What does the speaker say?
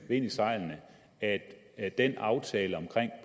vind i sejlene at at den aftale om